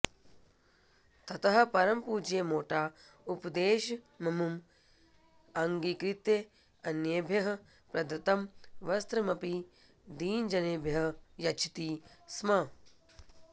ततः परं पूज्य मोटा उपदेशममुम् अङ्गीकृत्य अन्येभ्यः प्रदत्तं वस्त्रमपि दीनजनेभ्यः यच्छति स्म